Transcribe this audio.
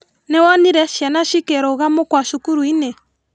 Nĩwonire ciana cikĩruga mũkwa cukuruinĩ?